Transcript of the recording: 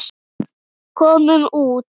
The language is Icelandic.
Komum út.